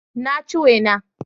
Na ci wena